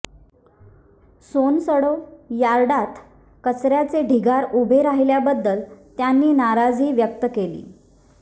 सोनसडो यार्डात कचऱयाचे ढिगारे उभे राहिल्याबद्दल त्यांनी नाराजी व्यक्त केली